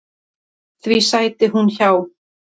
Því sæti hún hjá.